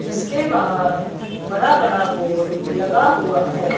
जिसके बाहर बड़ा बड़ा बोर्ड लगा हुआ है।